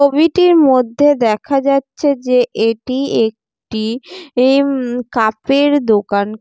ছবিটির মধ্যে দেখা যাচ্ছে যে এটি একটি উম এই কাপের দোকান।